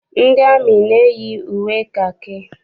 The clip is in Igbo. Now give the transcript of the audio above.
Ndị amị na-eyi uwe kakị.